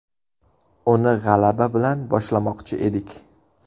Uni g‘alaba bilan boshlamoqchi edik.